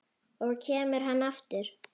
Og kemur hann aftur?